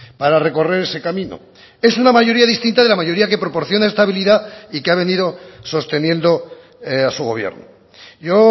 para recorrer ese camino es una mayoría distinta de la mayoría que proporciona estabilidad y que ha venido sosteniendo a su gobierno yo